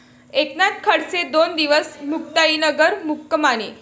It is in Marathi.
एकनाथ खडसे दोन दिवस मुक्ताईनगर मुक्कामी